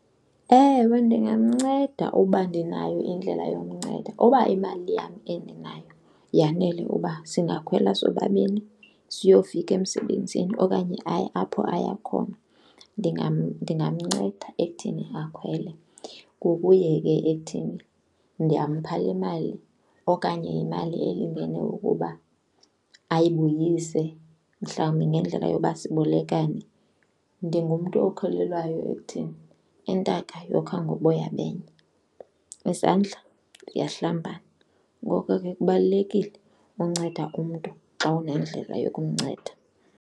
Ewe, ndingamnceda uba ndinayo indlela yomnceda. Uba imali yam endinayo yanele uba singakhwela sobabini siyofika emsebenzini okanye aye apho aya khona, ndingamnceda ekuthini akhwele ngokuye ke ekuthini ndiyampha le mali okanye yimali elingene ukuba ayibuyise mhlawumbi ngendlela yoba sibolekane. Ndingumntu okholelwayo ekuthini, intaka yokha ngoboya benye, izandla ziyahlambana. Ngoko ke kubalulekile unceda umntu xa unendlela yokumnceda.